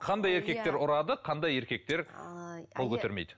қандай еркектер ұрады қандай еркектер қол көтермейді